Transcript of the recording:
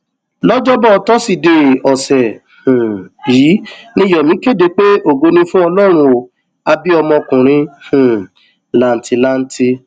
lọjọbọ tọsídẹẹ ọsẹ um yìí ni yomi kéde pé ògo ni fún ọlọrun ó á bí ọmọkùnrin um làǹtìlanti